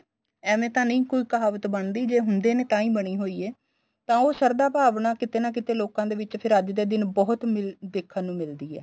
ਏਵੈ ਤਾਂ ਨਹੀਂ ਕੋਈ ਕਹਾਵਤ ਬਣਦੀ ਜੇ ਹੁੰਦੇ ਨੇ ਟਾਈ ਬਣੀ ਹੋਈ ਏ ਤਾਂ ਉਹ ਸ਼ਾਰਦਾ ਭਾਵਨਾ ਲੋਕਾ ਦੇ ਵਿੱਚ ਕੀਤੇ ਨਾ ਕੀਤੇ ਲੋਕਾ ਦੇ ਵਿੱਚ ਬਹੁਤ ਮਿਲ ਦੇਖਣ ਨੂੰ ਮਿਲਦੀ ਏ